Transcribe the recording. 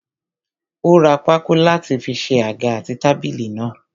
Ó ra pákó láti fi ṣe àga àti tábìlì náà.